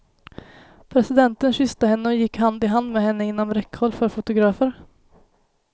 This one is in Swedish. Presidenten kysste henne och gick hand i hand med henne inom räckhåll för fotografer.